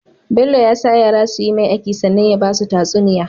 Bello ya sa yara suyi mai aiki sannan ya basu tatsuniya